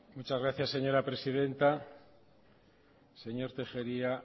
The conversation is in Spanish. muchas gracias señora presidenta señor tellería